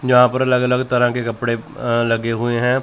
जहां पर अलग-अलग तरह के कपड़े लगे हुए हैं।